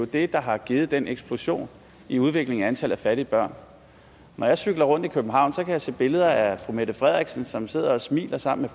det der har givet den eksplosion i udviklingen i antallet af fattige børn når jeg cykler rundt i københavn kan jeg se billeder af fru mette frederiksen som sidder og smiler sammen